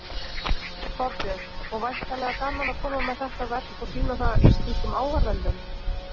Þorbjörn: Og væntanlega gaman að koma með þetta verk og sýna það íslenskum áhorfendum?